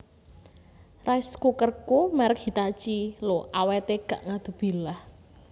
Rice cookerku merk Hitachi lho awete gak ngadubilah